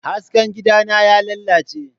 Hasken gidana ya lalace.